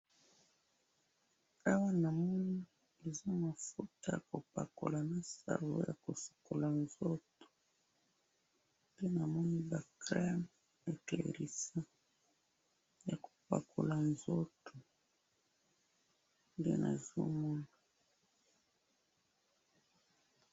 Awa na moni mafuta ya kopakola nzoto,